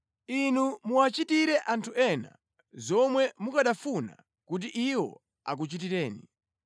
Inu muwachitire anthu ena, zomwe mukanafuna kuti iwo akuchitireni.